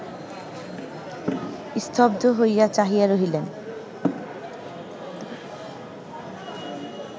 স্তব্ধ হইয়া চাহিয়া রহিলেন